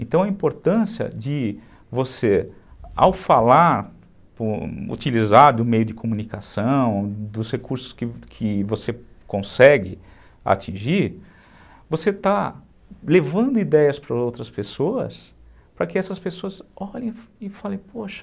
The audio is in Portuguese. Então, a importância de você, ao falar, utilizar do meio de comunicação, dos recursos que que você consegue atingir, você está levando ideias para outras pessoas para que essas pessoas olhem e falem, poxa,